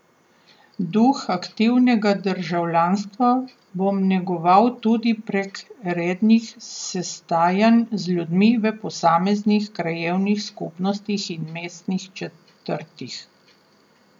Duh aktivnega državljanstva bom negoval tudi prek rednih sestajanj z ljudmi v posameznih krajevnih skupnostih in mestnih četrtih.